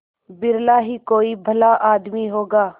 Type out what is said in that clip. बिरला ही कोई भला आदमी होगा